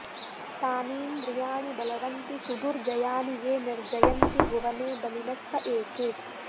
तानीन्द्रियाणि बलवन्ति सुदुर्जयानि ये निर्जयन्ति भुवने बलिनस्त एके